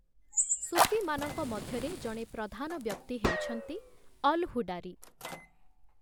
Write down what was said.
ସୁଫିମାନଙ୍କ ମଧ୍ୟରେ ଜଣେ ପ୍ରଧାନ ବ୍ୟକ୍ତି ହେଉଛନ୍ତି 'ଅଲ୍‌ ହୁଡାରୀ' ।